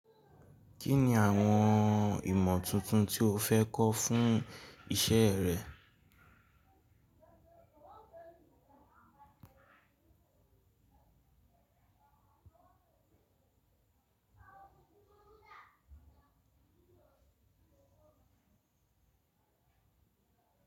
Kí ni àwọn ìmọ̀ tuntun tí o fẹ́ kọ́ fún iṣẹ́ rẹ?